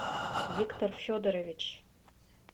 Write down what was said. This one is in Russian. виктор федорович